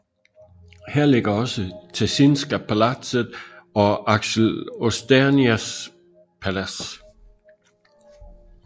Her ligger også Tessinska palatset og Axel Oxenstiernas Palads